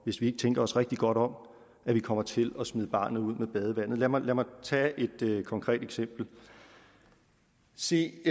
hvis vi ikke tænker os rigtig godt om kommer til at smide barnet ud med badevandet lad mig tage et konkret eksempel se